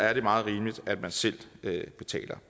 er det meget rimeligt at man selv betaler